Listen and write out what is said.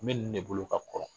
N bɛ ninnu de bolo ka kɔrɔ